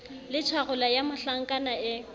le tjharola ya mohlankana e